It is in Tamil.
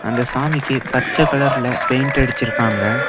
அந்த சாமிக்கு பச்ச கலர்ல பெய்ண்ட் அடிச்சிருக்காங்க.